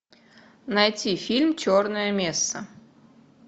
найти фильм черная месса